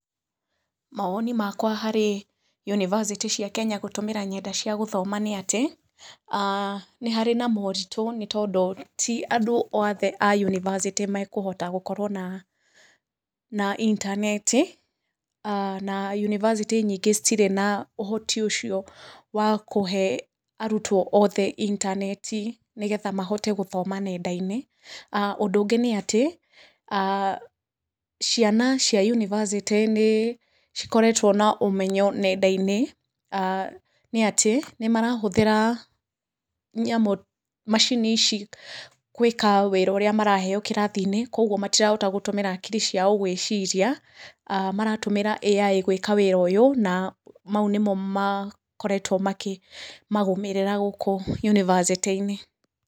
Mawoni makwa harĩ, yunivasĩtĩ cia kenya gũtũmĩra nenda cia gũthoma nĩ atĩ, nĩ harĩ na moritũ nĩ tondũ ti andũ othe a yunivasĩtĩ mekũhota gũkorwo na na intaneti, na yunivasĩtĩ nyingĩ citirĩ na ũhoti ũcio wa kũhe arutwo othe intaneti nĩgetha mahote gũthoma nenda-inĩ, ũndũ ũngĩ nĩatĩ, ciana cia yunivasĩtĩ nĩ cikoretwo na ũmenyo nenda-inĩ, nĩ atĩ, nĩmarahũthĩra, nyamũ, macini ici kwĩka wĩra ũrĩa maraheo kĩrathi-inĩ, koguo matirahota gũtũmĩra hakiri ciao gwĩciria, maratũmĩra AI gwĩka ũndũ ũyũ na mau nĩmo makoretwo makĩ marũmĩrĩra gũkũ yunivasĩtĩ-inĩ.